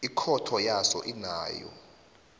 ikhotho yaso inawo